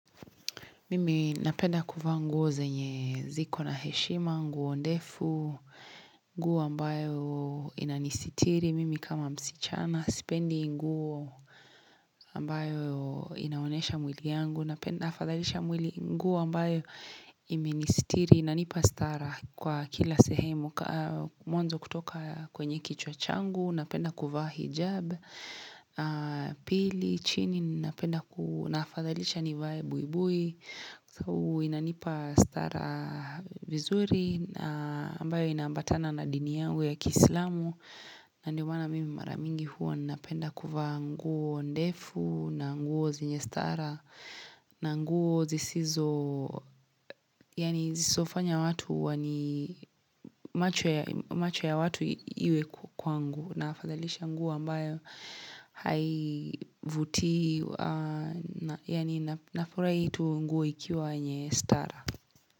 Mimi napenda kuvaa nguo zenye ziko na heshima, nguo ndefu, nguo ambayo inanisitiri, mimi kama msichana, sipendi nguo ambayo inaonyesha mwili yangu, napenda nafadhalisha mwili nguo ambayo imenistiri, inanipa stara kwa kila sehemu, mwanzo kutoka kwenye kichwa changu, napenda kuvaa hijab, pili, chini, napenda naafadhalisha nivae buibui, sababu inanipa stara vizuri ambayo inaambatana na dini yangu ya Kiislamu. Na ndio maana mimi mara mingi huwa ninapenda kuvaa nguo ndefu na nguo zenye stara. Na nguo zisizo yaani zisizofanya watu wani, macho ya watu iwe kwangu. Naafadhalisha nguo ambayo haivutii yaani nafurahia tu nguo ikiwa yenye stara.